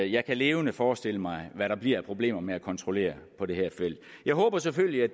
jeg kan levende forestille mig hvad der bliver af problemer med at kontrollere på det her felt jeg håber selvfølgelig at